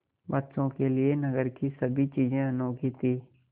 बच्चों के लिए नगर की सभी चीज़ें अनोखी थीं